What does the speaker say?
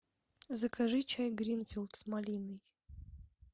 закажи чай гринфилд с малиной